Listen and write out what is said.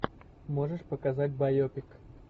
можешь показать байопик